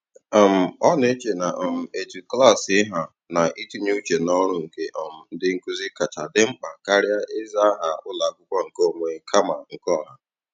um Ọ na-eche na um etu klaasị ha na itinye uche n'ọrụ nke um ndị nkụzi kacha di mkpa karịa ịza aha ụlọakwụkwọ nke onwe kama nke ọha.